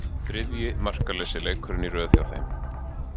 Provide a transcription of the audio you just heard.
Þriðji markalausi leikurinn í röð hjá þeim.